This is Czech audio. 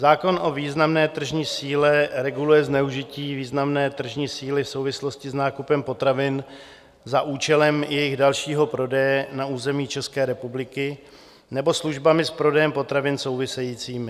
Zákon o významné tržní síle reguluje zneužití významné tržní síly v souvislosti s nákupem potravin za účelem jejich dalšího prodeje na území České republiky nebo službami s prodejem potravin souvisejícími.